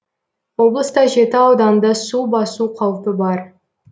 облыста жеті ауданды су басу қаупі бар